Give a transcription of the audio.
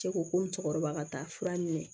Cɛ ko ko musokɔrɔba ka taa fura minɛ